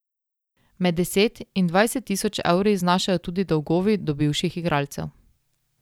Med deset in dvajset tisoč evri znašajo tudi dolgovi do bivših igralcev.